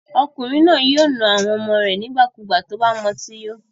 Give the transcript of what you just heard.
Ọkùnrin yìí yóò na àwọn ọmọ rẹ̀ nígbàkigbà tí ó bá mu ọtí yó.